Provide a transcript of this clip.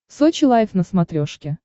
сочи лайв на смотрешке